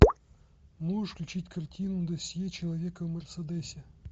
можешь включить картину досье человека в мерседесе